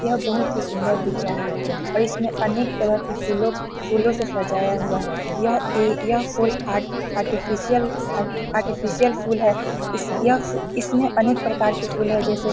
यह बहुत ही सुंदर दिख रहा है और इसमें अनेक तरह के फूलों फूलों से सजाया हुआ यह एक यह फूल आर्ट आर्टफिशयल आर्ट आर्टिफिशियल फूल है इस यह फु इसमें अनेक प्रकार के फूल है जैसे --